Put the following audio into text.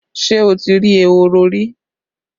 Ṣé o ti rí ehoro rí?